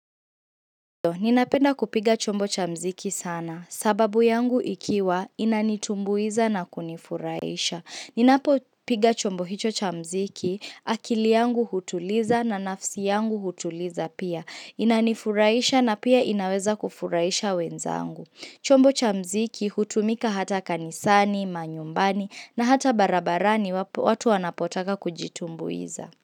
Ninapenda kupiga chombo cha muziki sana, sababu yangu ikiwa inanitumbuiza na kunifurahisha. Ninapopiga chombo hicho cha muziki, akili yangu hutuliza na nafsi yangu hutuliza pia. Inanifuraisha na pia inaweza kufuraisha wenzangu. Chombo cha muziki hutumika hata kanisani, manyumbani na hata barabarani watu wanapotaka kujitumbuiza.